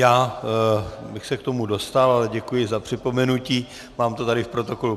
Já bych se k tomu dostal, ale děkuji za připomenutí, mám to tady v protokolu.